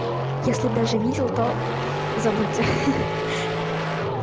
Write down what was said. если даже видел то забудьте ха